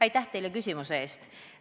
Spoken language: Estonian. Aitäh teile küsimuse eest!